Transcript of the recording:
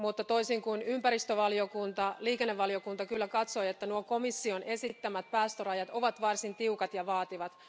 Toisin kuin ympäristövaliokunta liikennevaliokunta kyllä katsoi, että komission esittämät päästörajat ovat varsin tiukat ja vaativat.